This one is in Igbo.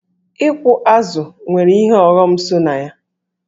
Ịkụ azụ̀ nwere ihe ọghọm so na ya.